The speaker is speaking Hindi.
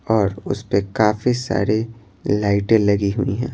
और उस पे काफी सारी लाइटें लगी हुई हैं।